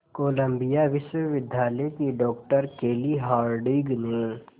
Colombia विश्वविद्यालय की doctor Kelly Harding ने